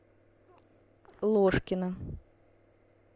ложкина